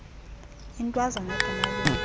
intwazana egama lingu